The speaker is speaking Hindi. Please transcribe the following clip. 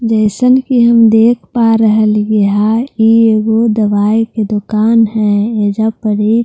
जैसन कि हम देख पा रह लिए है ई ऊ दवाई की दुकान है अजा पर एक टी_वी --